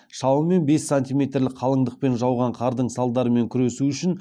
шамамен бес сантиметрлік қалыңдықпен жауған қардың салдарымен күресу үшін